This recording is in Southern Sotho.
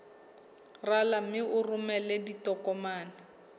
rala mme o romele ditokomene